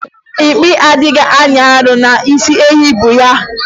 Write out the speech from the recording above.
Mpi adịghị anyị arụ n'isi ehi bu ya.